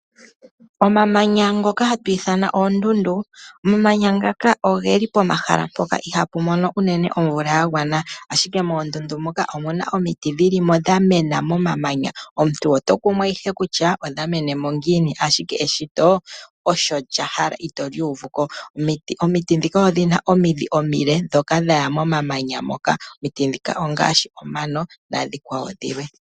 Omamanya ngoka hatu ithana oondundu. Omamanya ngaka ogeli pomahala mpoka ihapu mono omeya gagwana ashike moondundu muka omuna omiti dhilimo dha mena momamanya . Omuntu oto kumwa ihe kutya odhamenemo ngiini ashike eshito osho lyahala ito li uvuko. Omiti ndhika odhina omidhi omile ndhoka dhaya momamanya moka. Omiti ndhika ongaashi omano nadhilwe.